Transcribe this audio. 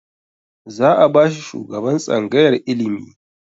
Za a bashi shugaban tsangayar ilimi